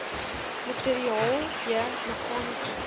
materiaal j meganiese